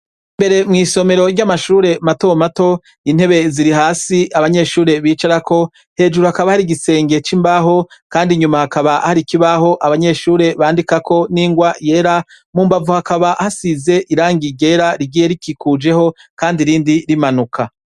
Imbere mw' isomero ry' amashure mato mato, intebe ziri hasi abanyeshure bicarako, hejuru hakaba hari igisenge c' imbaho, kandi inyuma hakaba hari ikibaho abanyeshure bandikako n' ingwa yera, mu mbavu hakaba hasize irangi ryera rigiye rikikujeho kandi irindi rimanuka.